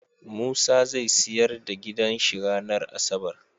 Musa zai siyar da gidan shi ranar asabar